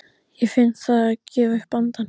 Ég finn það gefa upp andann.